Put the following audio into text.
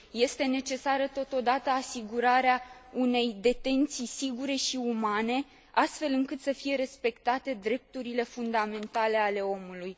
Este necesară totodată asigurarea unei detenții sigure și umane, astfel încât să fie respectate drepturile fundamentale ale omului.